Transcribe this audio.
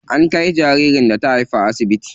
An kai jaririn da ta haifa asibiti.